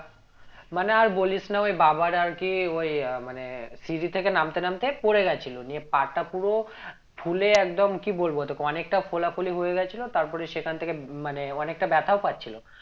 মানে আর বলিস না ওই বাবার আর কি ওই মানে সিঁড়ি থেকে নামতে নামতে পরে গেছিলো নিয়ে পা টা পুরো ফুলে একদম কি বলবো তোকে অনেকটা ফোলা ফুলি হয়ে গেছিলো তারপরে সেখান থেকে মানে অনেকটা ব্যাথাও পাচ্ছিলো